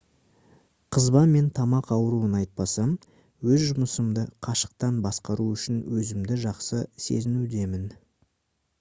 қызба мен тамақ ауруын айтпасам өз жұмысымды қашықтан басқару үшін өзімді жақсы сезінудемін